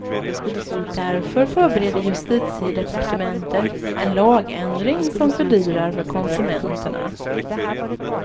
Därför förbereder justitiedepartementet en lagändring som fördyrar för konsumenterna.